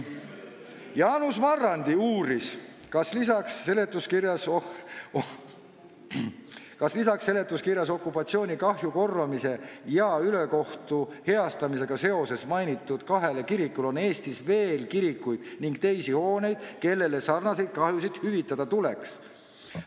" Jaanus Marrandi uuris, kas lisaks seletuskirjas seoses okupatsioonikahju korvamise ja ülekohtu heastamisega mainitud kahele kirikule on Eestis veel kirikuid ning teisi hooneid, kellele sarnaseid kahjusid hüvitada tuleks.